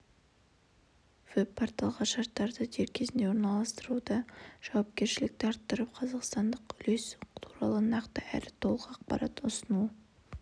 веб-порталға шарттарды дер кезінде орналастыруда жауапкершілікті арттырып қазақстандық үлес туралы нақты әрі толық ақпарат ұсынуы